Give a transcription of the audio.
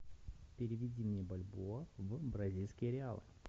переведи мне бальбоа в бразильские реалы